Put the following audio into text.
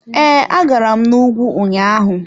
Ee, agara m na ùgwù ụnyaahụ.